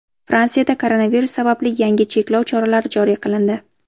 Fransiyada koronavirus sababli yangi cheklov choralari joriy qilindi.